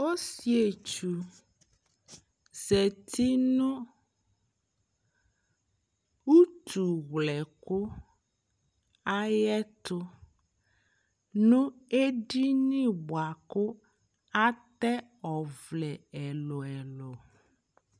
Ɔsietsu zati nʋ utuwlɛkʋ ayɛtʋ nʋ edini bua kʋ atɛ ɔvlɛ ɛlʋ ɛlʋ